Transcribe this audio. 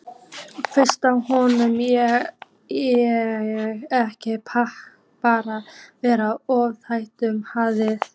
Finnst honum ég ekki bara vera of tækjum hlaðin?